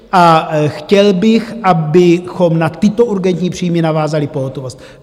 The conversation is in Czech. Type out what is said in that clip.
A chtěl bych, abychom na tyto urgentní příjmy navázali pohotovost.